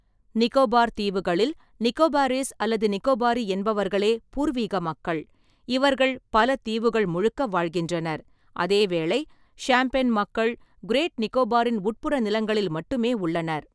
நிகோபார் தீவுகளில், நிகோபாரீஸ் அல்லது நிகோபாரி என்பவர்களே பூர்வீக மக்கள், இவர்கள் பல தீவுகள் முழுக்க வாழ்கின்றனர், அதேவேளை ஷாம்பென் மக்கள் கிரேட் நிகோபாரின் உட்புற நிலங்களில் மட்டுமே உள்ளனர்.